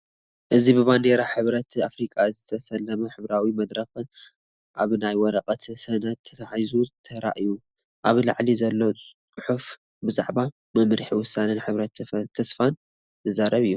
እዚ ብባንዴራ ሕብረት ኣፍሪቃ ዝተሰለመ ሕብራዊ መድረኽ ኣብ ናይ ወረቐት ሰነድ ተተሓሒዙ ተራእዩ። ኣብ ላዕሊ ዘሎ ጽሑፍ ብዛዕባ "መምርሒ ውሳኔን ሕብረት ተስፋን" ዝዛረብ እዩ።